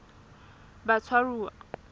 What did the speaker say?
batshwaruwa